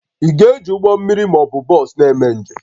Ị ga-eji ụgbọ mmiri ma ọ bụ bọs na-eme njem?